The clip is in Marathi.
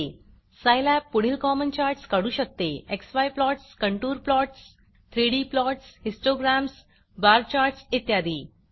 सायलॅब पुढील कॉमन चार्टस काढू शकते x y plots x y plots contour plotsकॉंटूर प्लॉट्स 3डी plots3डी प्लॉट्स histogramsहिस्टोग्रॅम्स बार chartsबर चार्ट्स इत्यादी